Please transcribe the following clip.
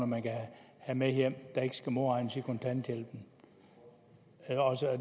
man kan have med hjem der ikke skal modregnes i kontanthjælpen